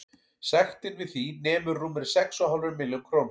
Sektin við því nemur rúmri sex og hálfri milljón króna.